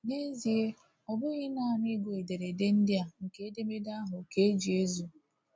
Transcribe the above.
N'ezie, ọ bụghị naanị ịgụ ederede ndị a nke edemede ahụ ka e ji ezu.